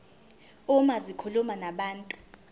uma zikhuluma nabantu